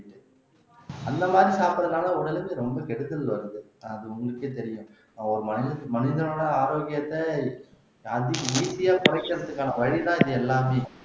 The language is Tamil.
அந்த மாதிரி சாப்பிடறதுனால உடலுக்கு ரொம்ப கெடுதல் வருது அது உங்களுக்கே தெரியும் ஒரு மனித மனிதனோட ஆரோக்கியத்தை அதி easy ஆ குறைக்கிறதுக்கான வழி தான் இது எல்லாமே